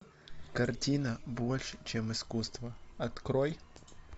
картина больше чем искусство открой